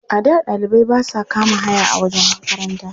A da ɗalibai ba sa kama haya a wajen makaranta.